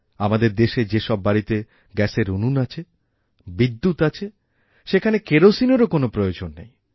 আমাদের দেশে যে সব বাড়িতে গ্যাসেরউনুন আছে বিদ্যুৎ আছে সেখানে কেরোসিনের কোনও প্রয়োজন নেই